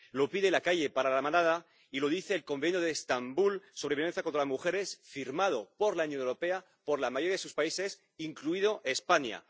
Lo pide la calle para La Manada y lo dice el Convenio de Estambul sobre la violencia contra las mujeres, firmado por la Unión Europea, por la mayoría de sus países, incluida España.